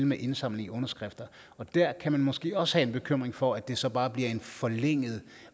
med indsamling af underskrifter og der kan man måske også have en bekymring for at det så bare bliver et forlænget